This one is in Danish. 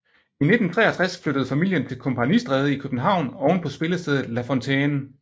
I 1963 flyttede familien til Kompagnistræde i København ovenpå spillestedet La Fontaine